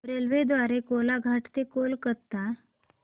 रेल्वेगाडी द्वारे कोलाघाट ते कोलकता